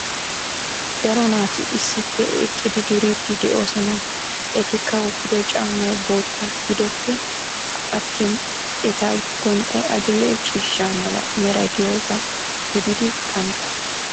daro naati issippe eqqidi duridi de'oosona. etikka wotiddo Caamay bootta giddoppe attin eta gonxxay adil"e ciishsha mala meray de'iyoga gididi qantta.